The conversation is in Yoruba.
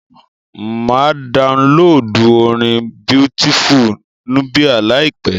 Máa downloadu orin Beautiful Nubia láìpẹ́.